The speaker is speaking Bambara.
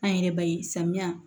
An yɛrɛ be samiya